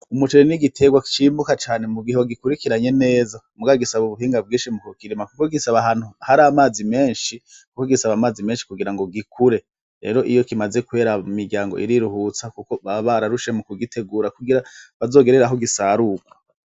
Umuceri n'igiterwa cimbuka cane mugihe wagikurikiranye neza, mugabo gusaba ubuhinga bwinshi mukukirima kuko gisaba ahantu har'amazi menshi ,Kuko gisaba amazi menshi kugira gikure, rero iyo kimaze kwera imiryango iriruhutsa Kuko baba bararushe mukugitegura kugira bazogerere aho gisarurwa.